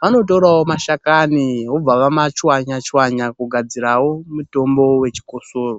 vanotorawo mashakani vobva vamachwanya-chwanya kugadzirawo mitombo yechikosoro.